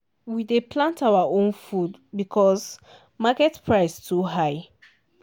we dey plant our own food because market price too high.